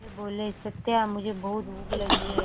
वे बोले सत्या मुझे बहुत भूख लगी है